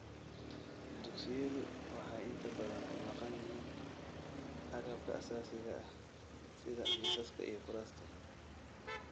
Dugsiyadu waxay inta badan ka maqan yihiin agabka aasaasiga ah sida miisaska iyo kuraasta.